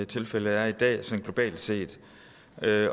tilfældet er i dag sådan globalt set